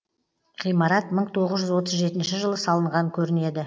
ғимарат мың тоғыз жүз отыз жетінші жылы салынған көрінеді